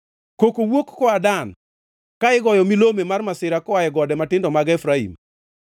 Koko wuok koa Dan, ka goyo milome mar masira koa e gode matindo mag Efraim.